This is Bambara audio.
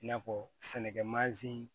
I n'a fɔ sɛnɛkɛ mansin